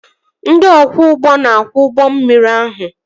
Ndị ọkwọ ụgbọ na-akwọ ụgbọ mmiri ahụ